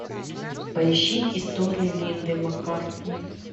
поищи история линды маккартни